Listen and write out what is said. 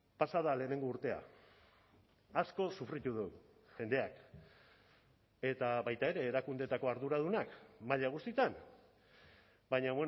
pasa da lehenengo urtea asko sufritu du jendeak eta baita ere erakundeetako arduradunak maila guztietan baina